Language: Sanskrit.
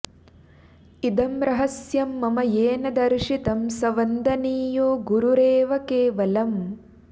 इदं रहस्यं मम येन दर्शितम् स वन्दनीयो गुरुरेव केवलम्